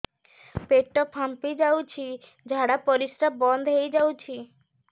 ପେଟ ଫାମ୍ପି ଯାଉଛି ଝାଡା ପରିଶ୍ରା ବନ୍ଦ ହେଇ ଯାଉଛି